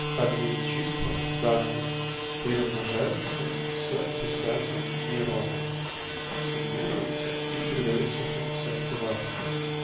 входные числа данные перемножаются с весами нейрона суммируются и предаются функции активации